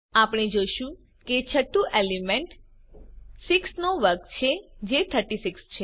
આપણે જોશું કે છઠ્ઠું એલિમેન્ટ 6 નો વર્ગ છે જે 36 છે